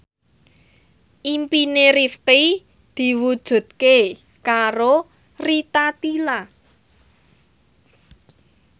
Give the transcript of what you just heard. impine Rifqi diwujudke karo Rita Tila